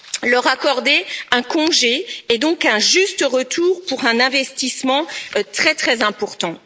Leur accorder un congé est donc un juste retour pour un investissement vraiment très important.